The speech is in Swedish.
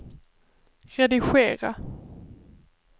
redigera